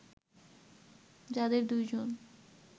যাদের দুই জন